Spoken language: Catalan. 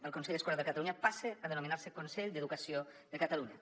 el consell escolar de catalunya passa a denominar se consell d’educació de catalunya